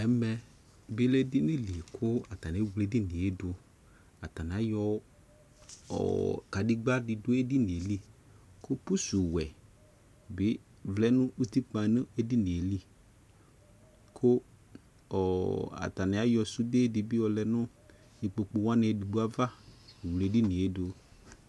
ɛmɛ lɛ edini dɩ bua kʊ awledʊ atanɩ alɛ ivutsu nʊ edini yɛ li, kʊ adɔ wɛdɩ bɩ vlɛ nʊ edini yɛ li, kʊ atanɩ ayɔ sũndedɩ bɩ yɔ lɛ nʊ ikpokuwanɩ edigbo ava, wle edini yɛ dʊ